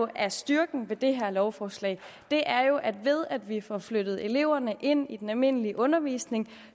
er styrken ved det her lovforslag er jo at ved at vi får flyttet eleverne ind i den almindelige undervisning